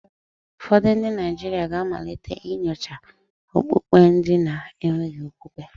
Ụfọdụ ndị Naijiria ga-amalite inyocha okpukpe ndi na-enweghi okwukwe.